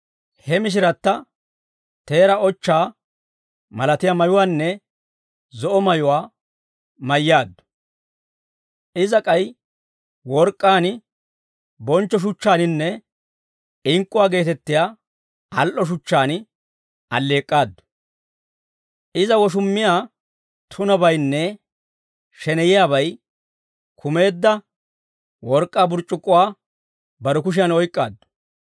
He mishiratta teeraa ochchaa malatiyaa mayuwaanne zo'o mayuwaa mayyaaddu; iza k'ay work'k'aan, bonchcho shuchchaaninne ink'k'uwaa geetettiyaa al"o shuchchaan alleek'k'aaddu. Iza woshummiyaa tunabaynne sheneyiyaabay kumeedda work'k'aa burc'c'ukkuwaa bare kushiyan oyk'k'aaddu.